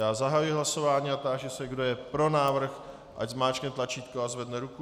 Já zahajuji hlasování a táži se, kdo je pro návrh, ať zmáčkne tlačítko a zvedne ruku.